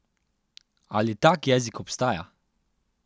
Ali tak jezik obstaja?